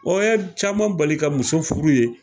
O ye caman bali ka muso furu yen